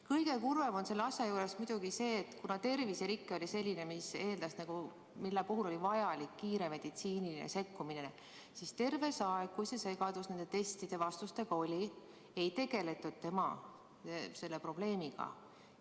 Kõige kurvem on selle asja juures muidugi see, et kuigi terviserike oli selline, mille puhul oli vajalik kiire meditsiiniline sekkumine, siis terve see aeg, kui see segadus nende testide vastustega oli, ei tegeletud tema selle probleemiga.